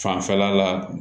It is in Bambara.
Fanfɛla la